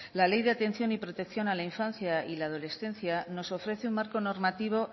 la ley de atención y protección de la infancia y la adolescencia nos ofrece un marco normativo